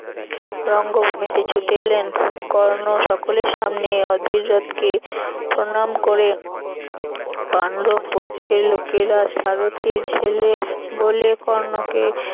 রঙ্গভূমিতে ছুটে এলেন কর্ণ সকলের সামনে অধীরথকে প্রনাম করে পান্ডব পক্ষের লোকেরা সারথির ছেলে কর্ণকে